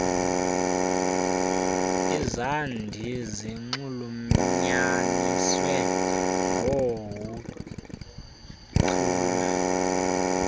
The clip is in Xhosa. izandi zinxulunyaniswe ngoohuchule